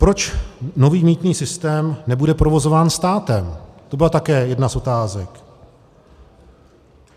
Proč nový mýtný systém nebude provozován státem, to byla také jedna z otázek.